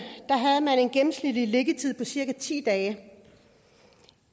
havde man en gennemsnitlig liggetid på cirka ti dage